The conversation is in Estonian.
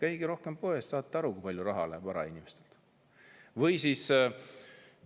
Käige rohkem poes, ja saate aru, kui palju raha inimestel läheb.